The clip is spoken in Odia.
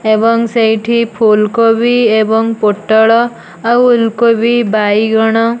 ଏବଂ ସେଇଠି ଫୁଲ କୋବି ଏବଂ ପୋଟଳ ଆଉ ଓଲ କୋବି ବାଇଗଣ --